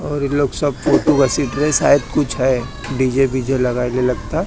और ये लोग सब फोटो का घसीट रहे शायद कुछ है डी_जे बीजे लगा रहे लगता--